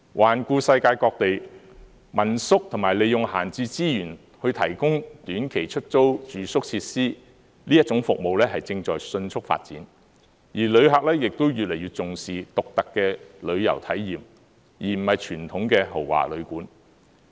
環顧世界各地，民宿及利用閒置資源去提供短期出租住宿設施，這種服務是正在迅速發展，旅客亦越來越重視獨特的旅遊體驗，而不是傳統的豪華旅館。